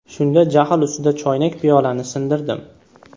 Shunda jahl ustida choynak-piyolani sindirdim.